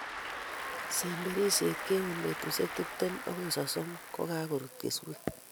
Semberisiet keoi betusiek tiptem agoi sosom kokarut keswek